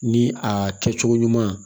Ni a kɛ cogo ɲuman